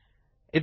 ಧನ್ಯವಾದಗಳು